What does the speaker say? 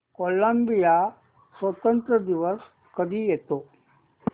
Colombia स्वातंत्र्य दिवस कधी येतो